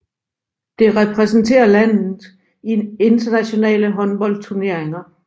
Det repræsenterer landet i internationale håndboldturneringer